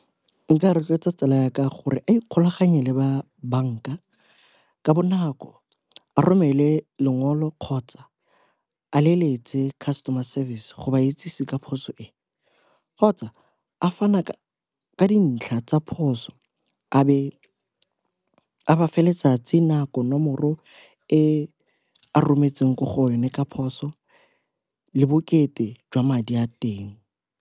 Nka rotloetsa tsala ya ka gore a ikgolaganye le ba banka ka bonako, a romele lengolo kgotsa a leletse customer service go ba itsese ka phoso e kgotsa a fana ka ka dintlha tsa phoso. A be a ba fa letsatsi, nako, nomoro e rometsweng ko go yone ka phoso le bokete jwa madi a teng.